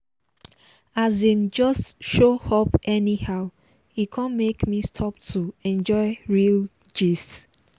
as him just show up anyhow e come make me stop to enjoy real gist